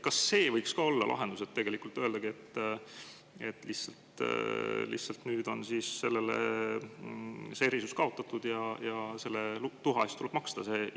Kas see võiks ka olla lahendus, et ütlemegi, et nüüd on see erisus kaotatud ja tuha eest tuleb maksta?